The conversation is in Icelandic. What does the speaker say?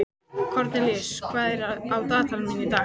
Kornelíus, hvað er á dagatalinu mínu í dag?